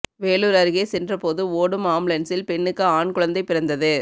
வேலூர் அருகே சென்றபோது ஓடும் ஆம்புலன்ஸில் பெண்ணுக்கு ஆண் குழந்தை பிறந்தது